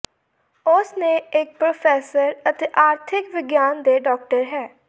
ਉਸ ਨੇ ਇੱਕ ਪ੍ਰੋਫੈਸਰ ਅਤੇ ਆਰਥਿਕ ਵਿਗਿਆਨ ਦੇ ਡਾਕਟਰ ਹੈ